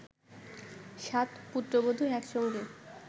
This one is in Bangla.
সাত পুত্রবধূ এক সঙ্গে